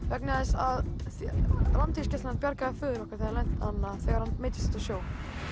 vegna þess að Landhelgisgæslan bjargaði föður okkar þegar hann meiddist úti á sjó